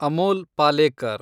Amol Palekar